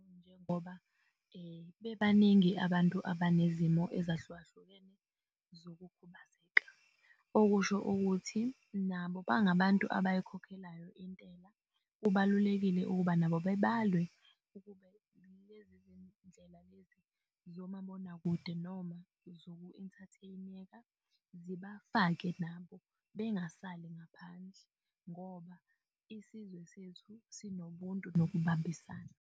Njengoba bebaningi abantu abanezimoto ezahlukahlukene zokukhubazeka, okusho ukuthi nabo bangabantu abayikhokhelayo intela. Kubalulekile ukuba nabo bebalwe ukube lezi zindlela lezi zomabonakude noma zoku-inthatheneka zibafake nabo bengasali ngaphandle ngoba isizwe sethu sinobuntu nokubambisana.